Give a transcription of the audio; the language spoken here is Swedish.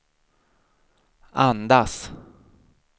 andas